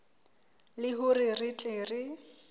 le hore re tle re